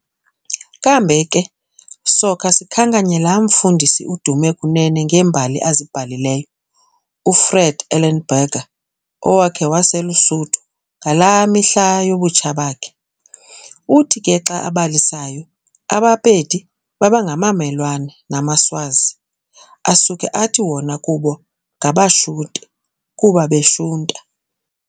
Kambe ke sokha sikhankanye laa mfundisi udume kunene ngeembali azibhalileyo, uFred Ellenberger, owakhe waselusuthu, ngalaa mihla yobutsha bakhe. Uthi ke xa abalisayo, abaPedi babengabamelwane namaSwazi, asuke athi wona kubo ngabaShute, kuba beshunta.